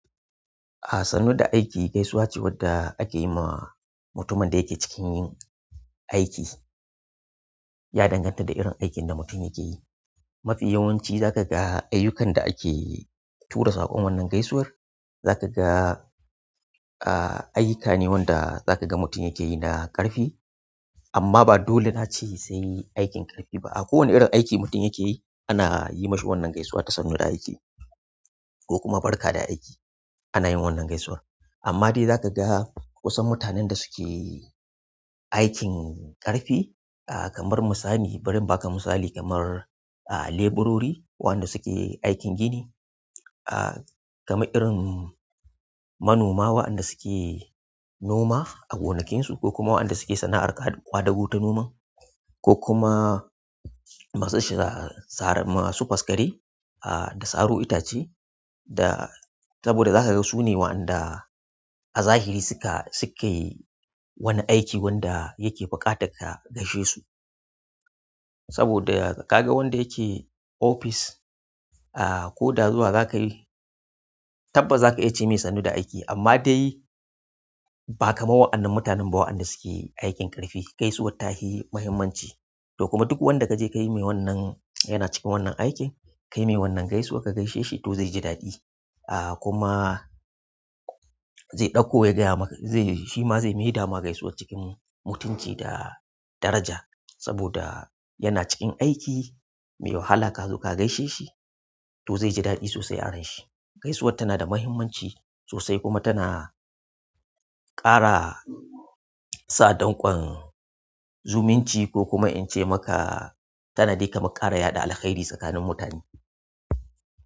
A sannu da aiki gaisuwa ce wadda ake yi ma mutumin da yake cikin yin aiki. Ya danganta da irin aikin da mutum yake yi. Mafiya yawanci za ka ga ayyukan da ake tura saƙon wannan gaisuwar. Za ka ga, a, ayyuka ne wanda za ka ga mutum yake yi na ƙarfi. Amma ba dole na ce sai aikin ƙarfi ba. A ko wane irin aiki mutum yake yi ana yi mi shi wannan gaisuwar ta sannu da aiki ko kuma barka da aiki. Ana yin wannan gaisuwar. Amma dai za ka ga wasu mutanen da suke aikin ƙarfi, kamar misali, bari in baka misali kamar, a, leburori wanda suke aikin gini, a, kamar irin manoma waɗanda suke noma a gonakinsu ko kuma waɗanda suke sana'ar ƙwadago ta noman ko kuma masu sha-sara, masu faskare a, da saro itace. Da saboda za ka ga su ne waɗanda a zahiri suka, suke wani aiki wanda yake buƙata ka gaishe su. Saboda ka ga wanda yake ofis, a, ko da zuwa za ka yi, tabbas za ka iya ce mai sannu da aiki amma dai ba kamar wa'annan mutanen ba waɗanda suke aikin ƙarfi. Gaisuwar ta fi muhimmanci. To kuma duk wanda ka je ka yi mai wannan, yana cikin wannan aikin ka yi mai wannan gaisuwa ka gaishe shi to zai ji daɗi. A, kuma zai ɗauko ya gaya maka, zai, shi ma zai yi maida gaisuwar cikin mutunci da daraja saboda yana cikin aiki mai wahala ka zo ka gaishe shi to zai ji daɗi sosai a ranshi. Gaisuwar tana da muhimmanci sosai kuma tana ƙara sa danƙon zumunci ko kuma in ce maka tana dai kamar ƙara yada alkairi tsakanin mutane.